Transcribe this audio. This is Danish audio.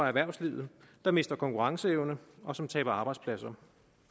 erhvervslivet der mister konkurrenceevne og som taber arbejdspladser